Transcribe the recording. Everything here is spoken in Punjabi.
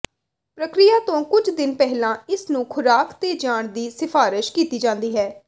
ਪ੍ਰਕਿਰਿਆ ਤੋਂ ਕੁਝ ਦਿਨ ਪਹਿਲਾਂ ਇਸ ਨੂੰ ਖੁਰਾਕ ਤੇ ਜਾਣ ਦੀ ਸਿਫਾਰਸ਼ ਕੀਤੀ ਜਾਂਦੀ ਹੈ